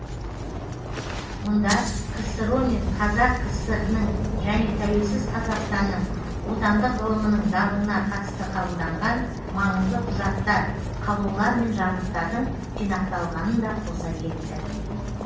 мұнда ксро мен қазақ кср інің және тәуелсіз қазақстанның отандық ғылымның дамуына қатысты қабылданған маңызды құжаттар қаулылар мен жарлықтардың жинақталғанын да қоса кетті